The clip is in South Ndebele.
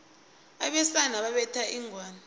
abesana babetha inghwani